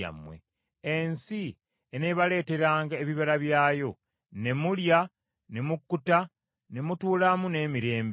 Ensi eneebaleeteranga ebibala byayo, ne mulya ne mukkuta ne mutuulamu n’emirembe.